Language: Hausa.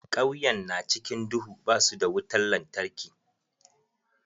Kauyen na cikin duhu, ba su da wutar lantarki.